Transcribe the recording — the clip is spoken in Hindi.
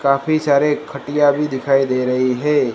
काफी सारे खटिया भी दिखाई दे रही है।